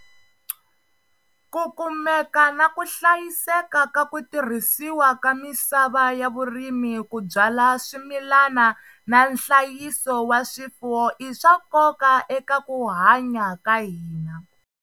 Ku kumeka na ku hlayiseka ka ku tirhisiwa ka misava ya vurimi ku byala swimilana na nhlayiso wa swifuwo i swa nkoka eka ku hanya ka hina.